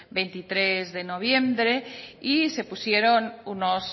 veintitrés de noviembre y se pusieron unos